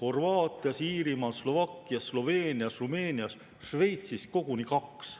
Horvaatias, Iirimaal, Slovakkias, Sloveenias ja Rumeenias, Šveitsis aga koguni kaks.